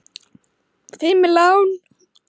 Fimm lán!